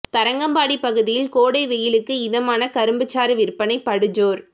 தரங்கம்பாடி பகுதியில் கோடை வெயிலுக்கு இதமான கரும்புச்சாறு விற்பனை படுஜோர்